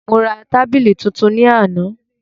Mo ra tábìlì tuntun ní àná